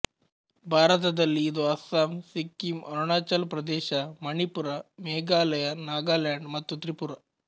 ಭಾರತದಲ್ಲಿ ಇದು ಅಸ್ಸಾಮ್ ಸಿಕ್ಕಿಮ್ ಅರುಣಾಚಲ್ ಪ್ರದೇಶ ಮಣಿಪುರ ಮೇಘಾಲಯ ನಾಗಾಲ್ಯಾಂಡ್ ಮತ್ತು ತ್ರಿಪುರ